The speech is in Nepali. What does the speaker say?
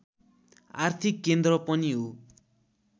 आर्थिक केन्द्र पनि हो